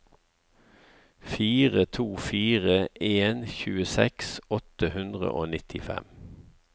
fire to fire en tjueseks åtte hundre og nittifem